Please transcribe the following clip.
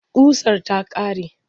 Ƙusar ta ƙare.